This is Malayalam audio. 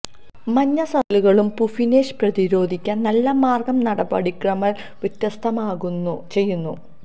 മഞ്ഞ സർക്കിളുകളും പുഫ്ഫിനെഷ് പ്രതിരോധിക്കാൻ നല്ല മാർഗ്ഗം നടപടിക്രമങ്ങൾ വ്യത്യസ്ഥമാക്കുന്നു ചെയ്യുന്നു